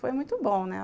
Foi muito bom, né?